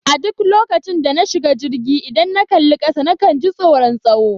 A duk lokacin da na shiga jirgi, idan na kalli kasa na kan ji tsoron tsawo.